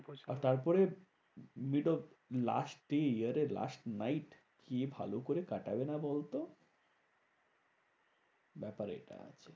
আর তারপরে last year এর last night কে ভালো করে কাটাবে না বলতো? ব্যাপার এটা আছে।